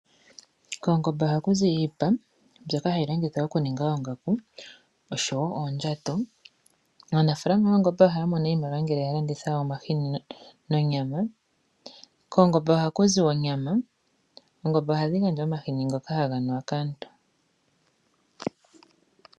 Koongombe ohaku zi iipa, mbyoka hayi longithwa okuninga oongaku, oshowo oondjato. Aanafalama yoongombe ohayamono iimaliwa ngele ya landitha omahini nonyama. Koongomebe ohaku zi onyama, nohaku zi wo omahini ngoka haga nuwa kaantu.